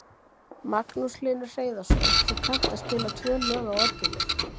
Magnús Hlynur Hreiðarsson: Þú kannt að spila tvö lög á orgelið?